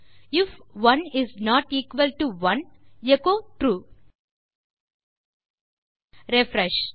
if 1 is not equal to 1 echo true refresh